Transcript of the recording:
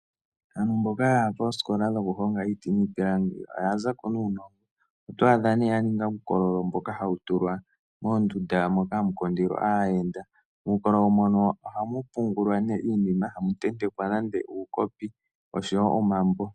Aantu mboka ya koosikola dhokuhonga iiti niipilangi oya za ko nuunongo. Oto adha nee ya ninga uukololo mboka hawu tulwa moondunda moka hamu kundilwa aayenda. Muukololo mono ohamu pugulwa nee iinima, hamu tentekwa nande uukopi oshowo omambo.